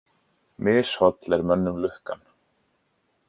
Misholl er mönnum lukkan.